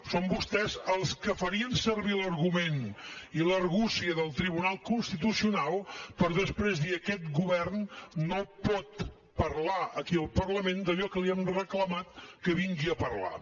són vostès els que farien servir l’argument i l’argúcia del tribunal constitucional per després dir aquest govern no pot parlar aquí al parlament d’allò que li hem reclamat que vingui a parlar